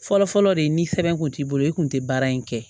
Fɔlɔfɔlɔ de ni sɛbɛn kun t'i bolo i kun tɛ baara in kɛ